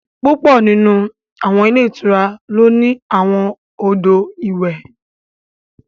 Púpọ̀ nínú àwọn ilé ìtura ló ní àwọn odò ìwẹ̀